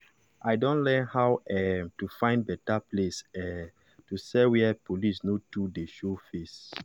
i don learn how um to find better place um to sell where police no too dey show face. um